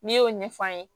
N'i y'o ɲɛfɔ an ye